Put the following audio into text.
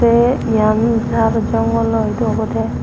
te iyan jhar jongolo idu obode.